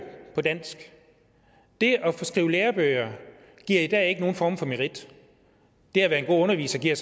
på dansk det at skrive lærebøger giver i dag ikke nogen form for merit det at være en god underviser giver